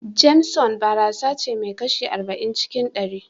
JAMESON barasace mai kashi arba'in cikin ɗari.